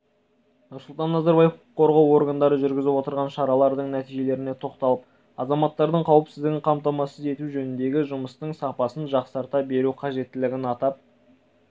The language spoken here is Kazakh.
нұрсұлтан назарбаев құқық қорғау органдары жүргізіп отырған шаралардың нәтижелеріне тоқталып азаматтардың қауіпсіздігін қамтамасыз ету жөніндегі жұмыстың сапасын жақсарта беру қажеттілігін атап